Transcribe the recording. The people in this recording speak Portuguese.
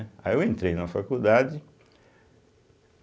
Aí eu entrei na faculdade.